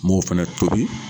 N m'o fana tobi.